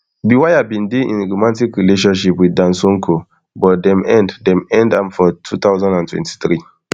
bwire bin dey in romatic relationship wit dan sonko but dem end dem end am for two thousand and twenty-three